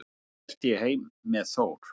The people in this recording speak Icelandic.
Þá hélt ég heim með Þór.